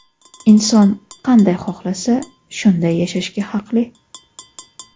Inson qanday xohlasa, shunday yashashga haqli.